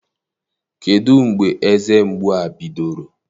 Kedụ mgbe eze mgbu a bidoro?